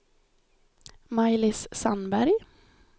Maj-Lis Sandberg